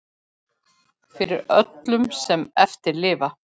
Fyrir öllum sem eftir lifa!